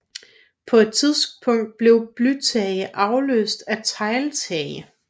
På et tidspunkt blev blytage afløst af tegltage